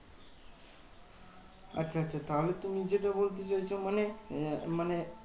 আচ্ছা আচ্ছা তাহলে তুমি যেটা বলতে চাইছো মানে আহ মানে